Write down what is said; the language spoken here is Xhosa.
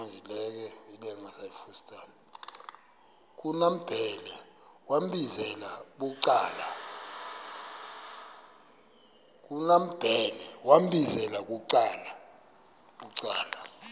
kumambhele wambizela bucala